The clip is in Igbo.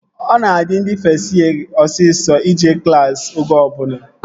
Ọ na-adị ndị fest yee osisọ ije klassi oge ọbụla